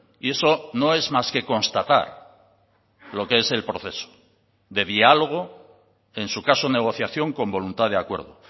y eso no es más que constatar lo que es el proceso de diálogo en su caso negociación con voluntad de acuerdo